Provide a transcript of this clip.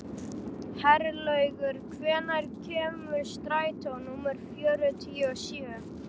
Herlaugur, hvenær kemur strætó númer fjörutíu og sjö?